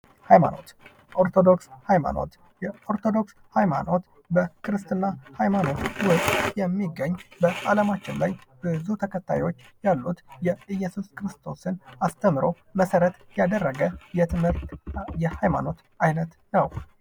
ሃይማኖት ኦርቶዶክስ ሃይማኖት በክርስትና ውስጥ የሚገኝ በአለማችን ላይ ብዙ ተከታዮች ያሉ የኢየሱስ ክርስቶስን አስተምሮ ት ያደረገ ሃይማኖት አይነት ነው ።